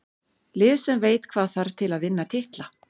Lið sem veit hvað þarf til að vinna titla.